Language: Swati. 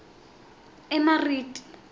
emariti